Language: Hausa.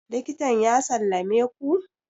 likitan ya sallame ku?